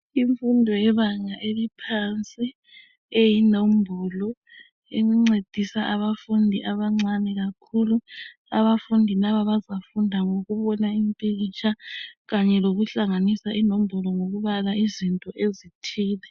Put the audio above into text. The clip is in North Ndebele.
Imfundo yebanga eliphansi eyinombolo encedisa abafundi abancane kakhulu abafundi laba baza funda ngokubona impikitsha kanye lokuhlanganisa inombolo ngokubala izinto ezithile.